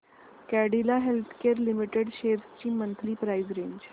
Cadila healthcare limited shares ची monthly price range